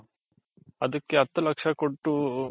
ಅದಿಕ್ಕೆ ಹತು ಲಕ್ಷ ಕೊಟ್ಟು